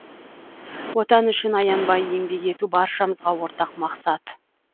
отан үшін аянбай еңбек ету баршамызға ортақ мақсат